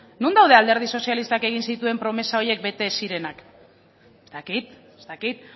non daude alderdi sozialistak egin zituen promesa horiek bete ez zirenak ez dakit ez dakit